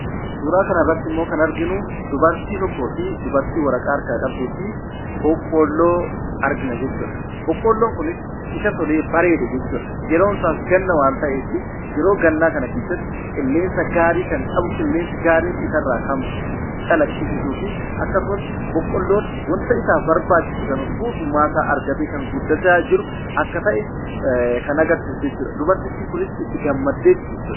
Suuraa kana irratti immoo kan arginu, dubartii tokkoo fi dubartii waraqaa harkaa qabduu fi boqqoolloo argina jechuudha. Boqqoolloon kunis isa tolee bareede jechuudha. Yeroon isaas ganna waan ta'eefi yeroo gannaa kana keessatti qilleensa gaarii kan qabu, qilleensi gaariin isarraa kan calaqqisiisu fi akkasumas boqqoollon wanta isaaf barbaachisu kana guutummaa isaa argatee kan guddachaa jiru akka ta'e kan agarsiisu jechuudha. Dubartittiin kunis itti gammaddeeti jechuudha.